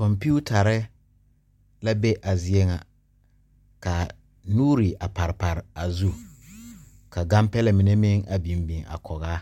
Kompeetare la be a zie ŋa ka nuuri a pare pare a zu ka kampɛlɛ mine a biŋ biŋ a kɔge a